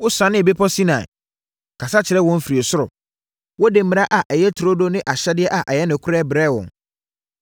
“Wosianee bepɔ Sinai, kasa kyerɛɛ wɔn firi ɔsoro. Wode mmara a ɛyɛ turodoo ne ahyɛdeɛ a ɛyɛ nokorɛ brɛɛ wɔn.